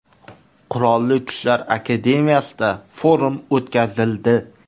Qurolli Kuchlar akademiyasida forum o‘tkazildi.